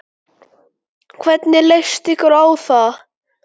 Hvernig leyst ykkur á það?